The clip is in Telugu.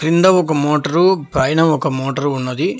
కింద ఒక మోటార్ పైన ఒక మోటార్ ఉన్నది.